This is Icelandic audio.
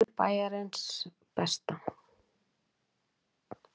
Vefur Bæjarins besta